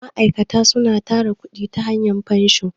ma'aikata na tara kudi ta hanya fansho